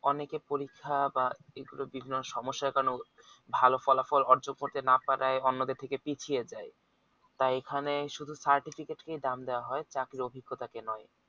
অনকে পরীক্ষা বা সমস্যা এর কারণে ভালো ফলাফল অর্জন করতে না পারায় অন্যদের থেকে পিছিয়ে যাই তাই এখানে শুধু certificate কেই দাম দাওয়া হয় চাকরির অভিজ্ঞতা কে নয়